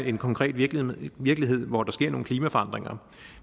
en konkret virkelighed virkelighed hvor der sker nogle klimaforandringer